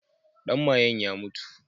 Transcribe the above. Ɗan mayen ya mutu.